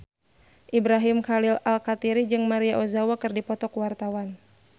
Ibrahim Khalil Alkatiri jeung Maria Ozawa keur dipoto ku wartawan